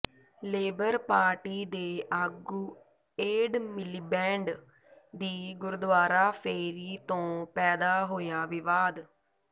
labour Party ਦੇ ਆਗੂ Ed Miliband ਦੀ ਗੁਰਦੁਆਰਾ ਫੇਰੀ ਤੋਂ ਪੈਦਾ ਹੋਇਆ ਵਿਵਾਦ